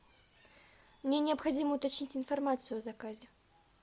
мне необходимо уточнить информацию о заказе